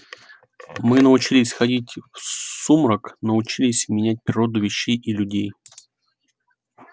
мы научились ходить в сумрак научились менять природу вещей и людей